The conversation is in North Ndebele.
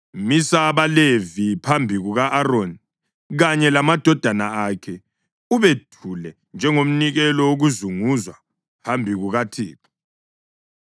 Misa abaLevi phambi kuka-Aroni kanye lamadodana akhe ubethule njengomnikelo wokuzunguzwa phambi kukaThixo.